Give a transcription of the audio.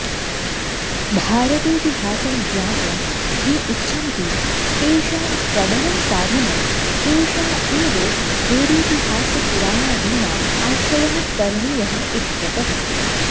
भारतेतिहासं ज्ञातुं ये इच्छन्ति तेषां प्रबलं साधनम् एषा एव वेदेतिहासपुराणादीनाम् आश्रयः करणीयः इत्यतः